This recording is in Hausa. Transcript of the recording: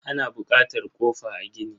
Ana bukatar kofa a gini.